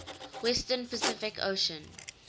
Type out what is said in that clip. western pacific ocean